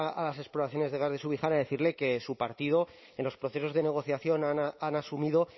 a las exploraciones de gas de subijana decirle que su partido en los procesos de negociación han asumido